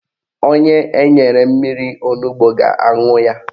Onye enyere mmiri onugbo ga-aṅụ ya